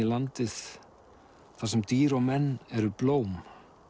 landið þar sem dýr og menn eru blóm